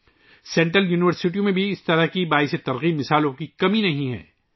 مرکزی یونیورسٹیوں میں بھی ایسی متاثر کن مثالوں کی کمی نہیں ہے